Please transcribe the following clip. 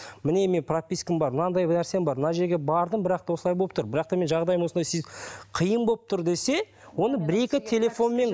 міне мен пропискам бар мынандай нәрсем бар мына жерге бардым бірақта осылай болып тұр бірақта менің жағдайым осындай қиын болып тұр десе оны бір екі телефонмен